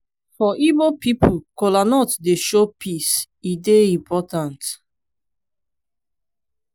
for igbo pipo kolanut dey show peace e dey important.